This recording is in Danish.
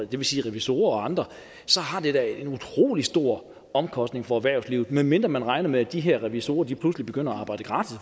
det vil sige revisorer og andre så har det da en utrolig stor omkostning for erhvervslivet medmindre man regner med at de her revisorer pludselig begynder at arbejde gratis